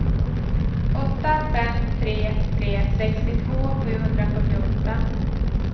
åtta fem tre tre sextiotvå sjuhundrafyrtioåtta